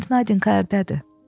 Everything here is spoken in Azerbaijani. İndi Nadinka hardadır?